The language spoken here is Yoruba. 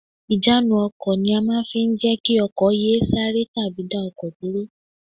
Ìjánu ọkọ̀ ni a máa fi ń jẹ́ kí ọkọ̀ yé e sáré tàbí dá ọkọ̀ dúró